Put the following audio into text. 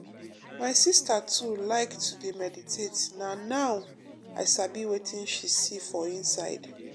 my sister too like to dey meditate nah now i sabi wetin she see for inside.